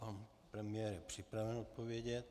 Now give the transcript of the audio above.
Pan premiér je připraven odpovědět.